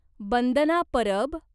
Bandana Parab